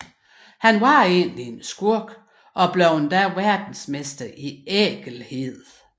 Han var egentlig en skurk og blev endda verdensmester i ækelhed